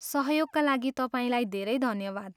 सहयोगका लागि तपाईँलाई धेरै धन्यवाद।